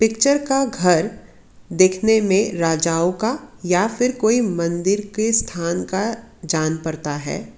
Picture का घर देखने में राजाओं का या फिर कोई मन्दिर के स्थान का जान परता है।